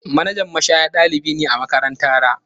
Manajan mashaya dalibi ne a makarantara.